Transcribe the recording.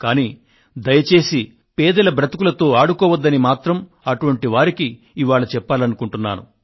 కానీ దయచేసి పేదల బతుకులతో ఆడుకోవద్దని మాత్రం అటువంటి వారికి ఇవాళ చెప్పాలనుకొంటున్నాను